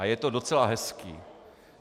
A je to docela hezké.